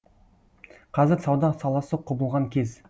қазір сауда саласы құбылған кез